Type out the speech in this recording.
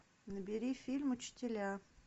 набери фильм учителя